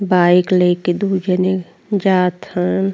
Bike लेके दुई जने जात हन।